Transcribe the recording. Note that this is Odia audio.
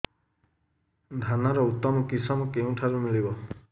ଧାନର ଉତ୍ତମ କିଶମ କେଉଁଠାରୁ ମିଳିବ